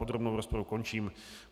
Podrobnou rozpravu končím.